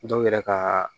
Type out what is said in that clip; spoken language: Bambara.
Dɔw yɛrɛ ka